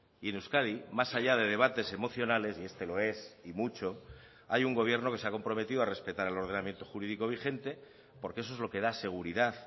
y en euskadi más allá de debates emocionales y este lo es y mucho hay un gobierno que se ha comprometido a respetar el ordenamiento jurídico vigente porque eso es lo que da seguridad